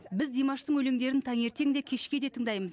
біз димаштың өлеңдерін таңертең де кешке де тыңдаймыз